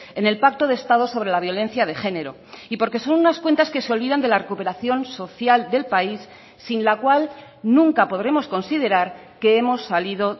en el pacto de estado sobre la violencia de género y porque son unas cuentas que se olvidan de la recuperación social del país sin la cual nunca podremos considerar que hemos salido